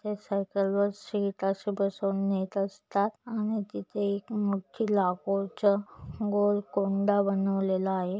ते साईकलवर सीट असे बसून नेत असतात आणि तिथे एक मोठी लाकूडच गोल कोंडा बनवलेला आहे.